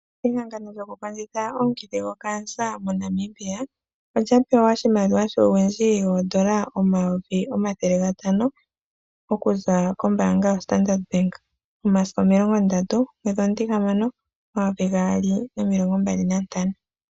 Ehangano lyoku omukithi gokansa mo Namibia. Olya pewa oshimaliwa shuuwindji woodola omayovi omathele gatano okuza kombaanga yo Standard Bank momasiku omilongo ndatu gomwedhi omutihamano omvo omayovi gaali nomilongo mbali nantano.